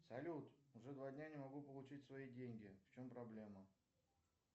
салют уже два дня не могу получить свои деньги в чем проблема